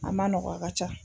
A ma nɔgɔ a ka ca.